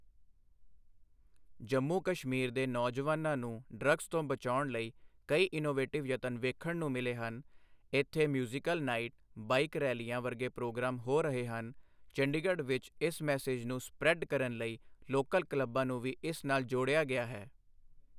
ਜੰਮੂ ਕਸ਼ਮੀਰ ਦੇ ਨੌਜਵਾਨਾਂ ਨੂੰ ਡ੍ਰੱਗਸ ਤੋਂ ਬਚਾਉਣ ਲਈ ਕਈ ਇਨੋਵੇਟਿਵ ਯਤਨ ਵੇਖਣ ਨੂੰ ਮਿਲੇ ਹਨ, ਇੱਥੇ ਮਿਊਜ਼ੀਕਲ ਨਾਈਟ, ਬਾਈਕ ਰੈਲੀਆਂ ਵਰਗੇ ਪ੍ਰੋਗਰਾਮ ਹੋ ਰਹੇ ਹਨ, ਚੰਡੀਗੜ੍ਹ ਵਿੱਚ ਇਸ ਮੈਸੇਜ ਨੂੰ ਸਪ੍ਰੈਡ ਕਰਨ ਲਈ ਲੋਕਲ ਕਲੱਬਾਂ ਨੂੰ ਵੀ ਇਸ ਨਾਲ ਜੋੜਿਆ ਗਿਆ ਹੈ।